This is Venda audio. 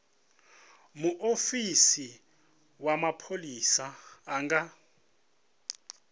muofisi wa mapholisa a nga